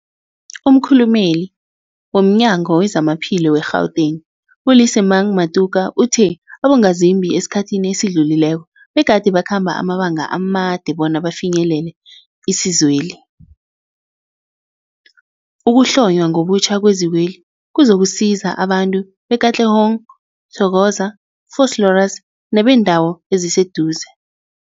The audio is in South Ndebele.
Umkhulumeli womNyango weZamaphilo we-Gauteng, u-Lesemang Matuka uthe abongazimbi esikhathini esidlulileko begade bakhamba amabanga amade bona bafinyelele isizweli. Ukuhlonywa ngobutjha kwezikweli kuzokusiza abantu be-Katlehong, Thokoza, Vosloorus nebeendawo eziseduze.